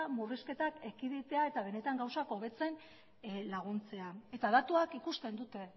murrizketak ekiditea eta benetan gauzak hobetzen laguntzea eta datuak ikusten dute